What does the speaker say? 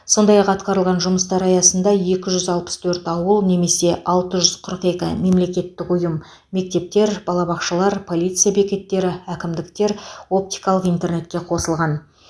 сондай ақ атқарылған жұмыстар аясында екі жүз алпыс төрт ауыл немесе алты жүз қырық екі мемлекеттік ұйым мектептер балабақшалар полиция бекеттері әкімдіктер оптикалық интернетке қосылған